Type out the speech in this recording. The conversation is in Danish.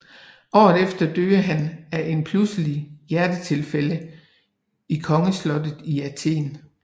Året efter døde han af en pludseligt hjertetilfælde i Kongeslottet i Athen